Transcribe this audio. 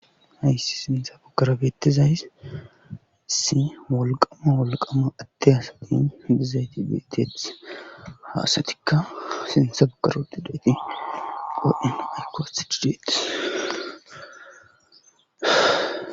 ayssi sintha bagara beettizays isso wolqama wolqama ade asati dizayti bettetes ha asatikka sense bagara uttidayti qodhen ayko aththidi detees